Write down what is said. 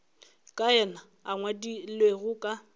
ka yena a ngwadilego ka